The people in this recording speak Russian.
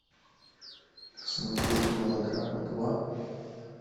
смотреть мылодрама два